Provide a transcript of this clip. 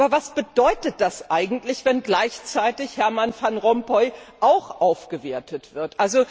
Aber was bedeutet das eigentlich, wenn gleichzeitig Herman van Rompuy auch aufgewertet wird?